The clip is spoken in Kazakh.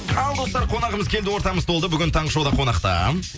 ал достар қонағымыз келді ортамыз толды бүгін таңғы шоуда қонақта